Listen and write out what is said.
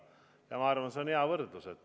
Ja ma arvan, et see on hea võrdlus.